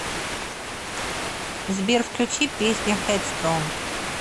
сбер включи песня хэдстронг